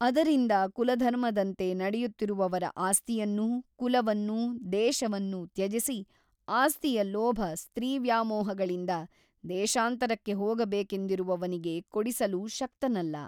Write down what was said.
ಅದರಿಂದ ಕುಲಧರ್ಮದಂತೆ ನಡೆಯುತ್ತಿರುವವರ ಆಸ್ತಿಯನ್ನೂ ಕುಲವನ್ನೂ ದೇಶವನ್ನೂ ತ್ಯಜಿಸಿ ಆಸ್ತಿಯ ಲೋಭ ಸ್ತ್ರೀವ್ಯಾಮೋಹಗಳಿಂದ ದೇಶಾಂತರಕ್ಕೆ ಹೋಗಬೇಕೆಂದಿರುವವನಿಗೆ ಕೊಡಿಸಲು ಶಕ್ತನಲ್ಲ.